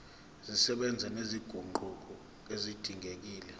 zisebenza nezinguquko ezidingekile